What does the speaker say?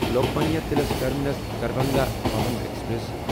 Lokmanya Tilak terminus Darbhanga Pawan express